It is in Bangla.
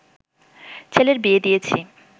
ছেলের বিয়ে দিয়েছি